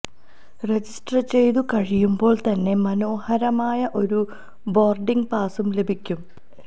register ചെയ്തുകഴിയുമ്പോൾ തന്നെ മനോഹരമായ ഒരു ബോർഡിങ് പാസും ലഭിക്കും